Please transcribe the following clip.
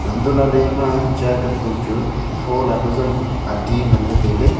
untoh lahley ema chair kanthong chu thola pazam adi nganley tailey.